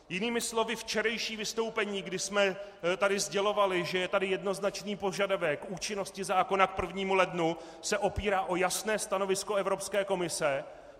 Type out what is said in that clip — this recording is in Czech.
Jinými slovy, včerejší vystoupení, kdy jsme tady sdělovali, že je tady jednoznačný požadavek účinnosti zákona k 1. lednu se opírá o jasné stanovisko Evropské komise.